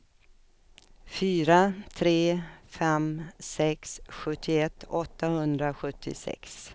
fyra tre fem sex sjuttioett åttahundrasjuttiosex